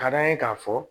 Ka d'a ye k'a fɔ